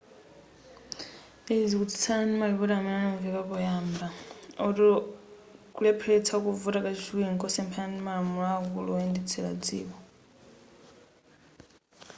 izi zikutsutsana ndi malipoti amene ananveka poyamba oti kulepheletsa kuvota kachiwiri nkosephana ndi malamulo aakulu oyendetsela dziko